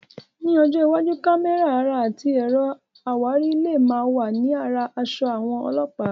Ní ọjọ́ iwájú, àwọn kámẹ́rà ara àti ẹ̀rọ àwárí lè máa wà ní ara aṣọ àwọn Ọlọ́pàá.